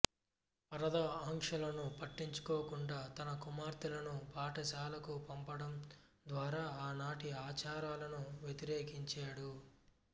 పరదా ఆంక్షలను పట్టించుకోకుండా తన కుమార్తెలను పాఠశాలకు పంపడం ద్వారా ఆనాటి ఆచారాలను వ్యతిరేకించాడు